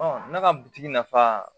ne ka bitigi nafa